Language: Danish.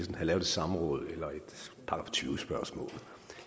havde lavet et samråd eller et § tyve spørgsmål